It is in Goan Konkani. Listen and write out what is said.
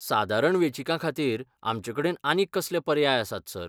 सादारण वेंचीकाखातीर आमचेकडेन आनीक कसले पर्याय आसात, सर?